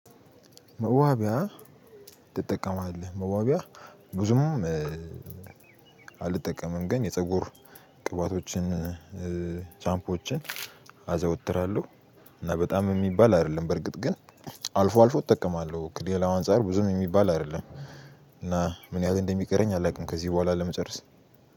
መዋቢያ ትጠቀማለህ? መዋቢያ ብዙም አልጠቀምም ግን የፀጉር ቅባቶችን ሻምፖዎችን አዘወትራለሁ እና በጣም የሚባል አይደለም በርግጥ ግን አልፎ አልፎ እጠቀማለሁ። ከሌላው አንፃር ብዙም የሚባል አይደለም እና ምን ያህል እንደሚቀረኝ አላውቅም ከዚህ በኋላ ለመጨረስ።